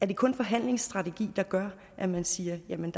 det kun forhandlingsstrategi der gør at man siger at man